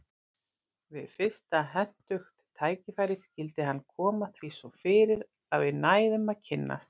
Við fyrsta hentugt tækifæri skyldi hann koma því svo fyrir að við næðum að kynnast.